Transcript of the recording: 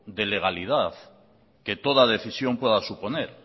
de legalidad que toda decisión pueda suponer